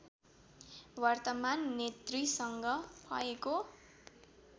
वर्तमान नेतृसँग भएको